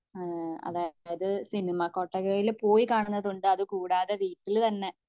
തുടങ്ങുന്നത് അതായത് സിനിമ കൊട്ടകയിൽ പോയി കാണുന്നത് ഉണ്ട് അതുകൂടാതെ വീട്ടിൽ തന്നെ